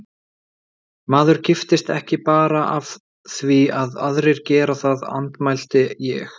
Maður giftist ekki bara af því að aðrir gera það, andmælti ég.